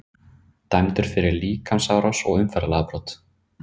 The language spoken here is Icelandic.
Dæmdur fyrir líkamsárás og umferðarlagabrot